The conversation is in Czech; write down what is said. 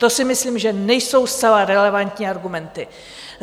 To si myslím, že nejsou zcela relevantní argumenty.